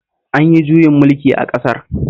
An yi juyin mulki a ƙasar